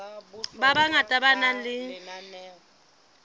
ba bangata ba nang le